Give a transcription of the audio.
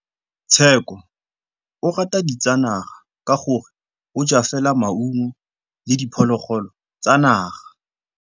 Tshekô o rata ditsanaga ka gore o ja fela maungo le diphologolo tsa naga.